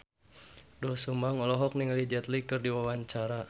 Doel Sumbang olohok ningali Jet Li keur diwawancara